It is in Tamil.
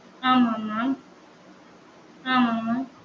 ஆம் ஆம் ஆம் ஆம் ஆம்